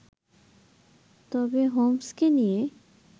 তবে হোমসকে নিয়ে